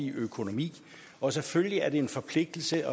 økonomi og selvfølgelig er det en forpligtelse